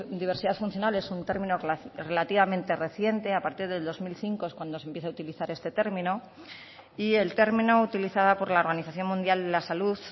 diversidad funcional es un término relativamente reciente a partir del dos mil cinco es cuando se empieza a utilizar este término y el término utilizada por la organización mundial de la salud